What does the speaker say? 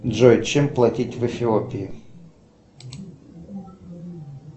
джой чем платить в эфиопии